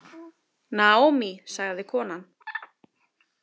Naomi, sagði konan.